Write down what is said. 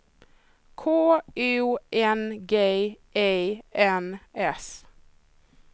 K U N G E N S